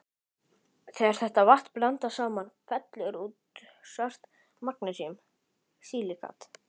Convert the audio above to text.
Þegar þetta vatn blandast saman fellur út svart magnesíum-silíkat.